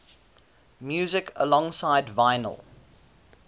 music alongside vinyl